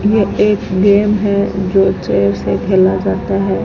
ये एक गेम है जो चेयर से खेला जाता है।